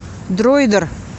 дроидер